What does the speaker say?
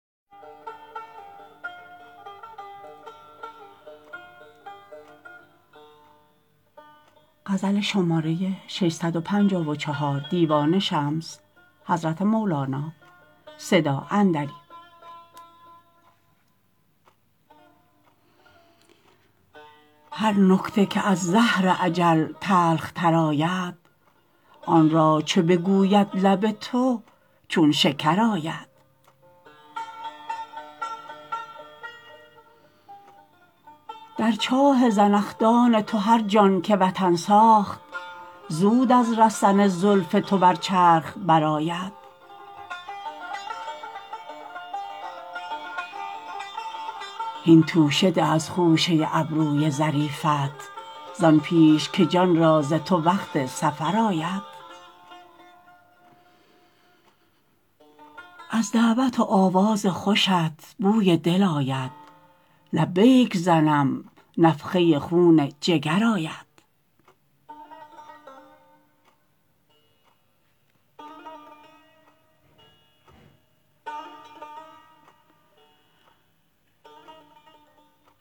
هر نکته که از زهر اجل تلختر آید آن را چو بگوید لب تو چون شکر آید در چاه زنخدان تو هر جان که وطن ساخت زود از رسن زلف تو بر چرخ برآید هین توشه ده از خوشه ابروی ظریفت زان پیش که جان را ز تو وقت سفر آید از دعوت و آواز خوشت بوی دل آید لبیک زنم نفخه خون جگر آید